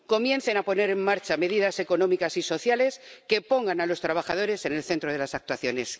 Comiencen a poner en marcha medidas económicas y sociales que pongan a los trabajadores en el centro de las actuaciones.